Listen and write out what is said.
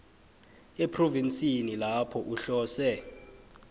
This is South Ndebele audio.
ephrovinsini lapho uhlose